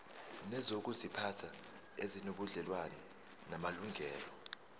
nezokuziphatha ezinobudlelwano namalungelo